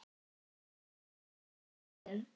Gaukur getur átt við